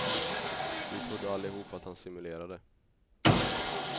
Vi trodde allihop att han simulerade.